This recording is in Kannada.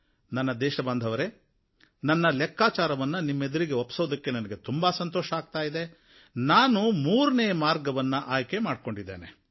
ಇವತ್ತು ನನ್ನ ದೇಶಬಾಂಧವರೇ ನನ್ನ ಲೆಕ್ಕಾಚಾರವನ್ನು ನಿಮ್ಮೆದುರಿಗೆ ಒಪ್ಪಿಸೋದಕ್ಕೆ ನನಗೆ ಸಂತೋಷವಾಗ್ತಾ ಇದೆ ನಾನು ಮೂರನೇ ಮಾರ್ಗವನ್ನು ಆಯ್ಕೆ ಮಾಡಿಕೊಂಡಿದ್ದೇನೆ